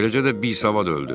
Eləcə də bisavad öldü.